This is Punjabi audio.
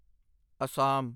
ਅਸਾਮ